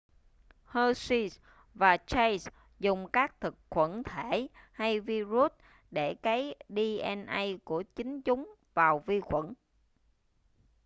hershey và chase dùng các thực khuẩn thể hay virus để cấy dna của chính chúng vào vi khuẩn